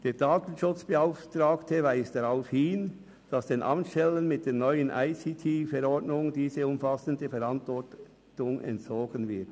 Der Datenschutzbeauftragte weist darauf hin, dass den Amtsstellen mit der neuen ICTV diese umfassende Verantwortung entzogen wird.